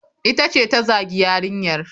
Ita ce ta zagi yarinyar.